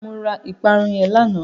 Mo ra ìparun yẹn lánàá.